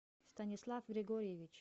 станислав григорьевич